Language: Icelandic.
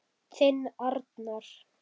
Þinn Arnar.